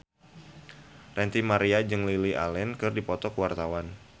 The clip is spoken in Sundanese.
Ranty Maria jeung Lily Allen keur dipoto ku wartawan